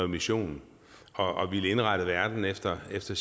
mission og ville indrette verden efter efter